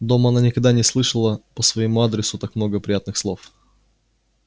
дома она никогда не слышала по своему адресу так много приятных слов